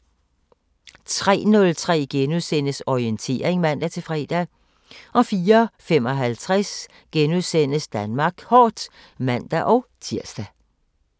03:03: Orientering *(man-fre) 04:55: Danmark Kort *(man-tir)